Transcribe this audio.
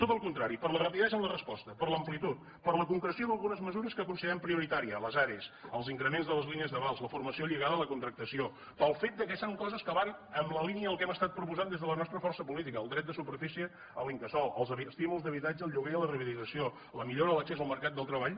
tot el contrari per la rapidesa en la resposta per l’amplitud per la concreció d’algunes mesures que considerem prioritàries les are els increments de les línies d’avals la formació lligada a la contractació pel fet que són coses que van en la línia del que hem proposat des de la nostra força política el dret de superfície a l’incasol els estímuls d’habitatge al lloguer i a la rehabilitació la millora de l’accés al mercat del treball